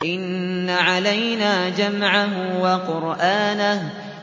إِنَّ عَلَيْنَا جَمْعَهُ وَقُرْآنَهُ